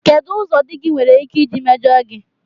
Kedụ ụzọ di gị nwere ike isi mejọọ gị?